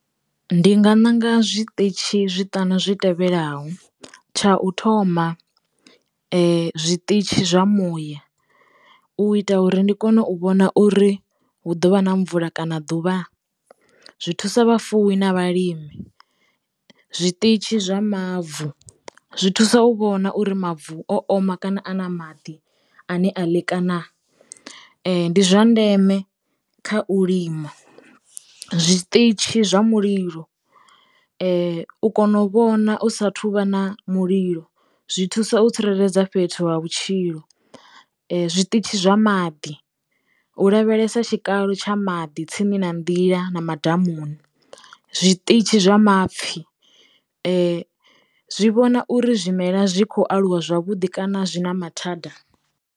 Ndi nga ṋanga zwiṱitshi zwiṱanu zwi tevhelaho tsha u thoma zwiṱitshi zwa muya u ita uri ndi kone u vhona uri hu ḓovha na mvula kana ḓuvha zwi thusa vhafuwi na vhalimi, zwiṱitshi zwa mavu zwi thusa u vhona uri mavu o oma kana a na maḓi ane a ndi zwa ndeme kha u lima. Zwiṱitshi zwa mulilo u kona u vhona u sa thuvha na mulilo zwi thusa u tsireledza fhethu wa vhutshilo, zwiṱitshi zwa maḓi u lavhelesa tshikalo tsha maḓi tsini na nḓila na madamuni, zwiṱitshi zwa mapfhi zwi zwi vhona uri zwimela zwi khou aluwa zwavhuḓi kana zwi na mathada.